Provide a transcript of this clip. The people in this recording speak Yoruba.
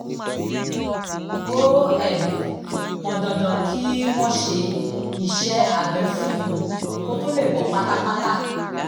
ó um pọn dandan kí wọ́n ṣe iṣẹ́ abẹ fún un kó tó lè bọ́ pátápátá